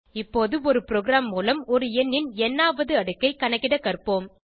இப்போது ஒரு ப்ரோகிராம் மூலம் ஒரு எண்ணின் ந் ஆவது அடுக்கை கணக்கிட கற்போம்